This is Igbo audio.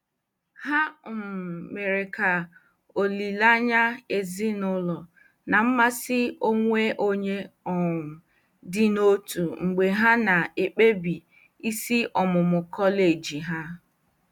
Ha um mere ka olileanya ezinụlọ na mmasị onwe onye um dị n'otu mgbe ha na-ekpebi isi ọmụmụ kọleji ha.